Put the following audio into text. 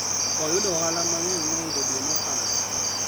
oyudo ohala mang'eny mohingo dwe mokalo